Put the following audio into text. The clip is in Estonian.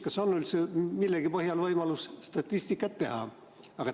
Kas on üldse millegi põhjal võimalik statistikat teha?